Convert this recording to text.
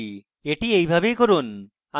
এটি এইভাবেই করুন